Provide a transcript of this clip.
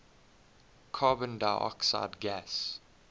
carbon dioxide gas